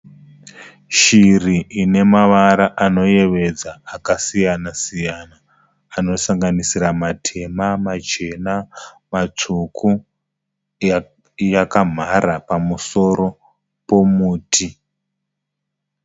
Shiri inemavara anoyevedza akasiyana-siyana anosanganisira matema, machena, matsvuku, yakamhara pamusoro pomuti.